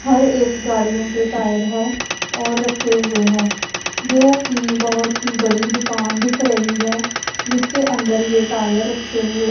हर एक गाड़ियों के टायर हैं और रखे हुए हैं जो की बहोत ही बड़ी दुकान दिख रही है जिसके अंदर ये टायर रखे हुए--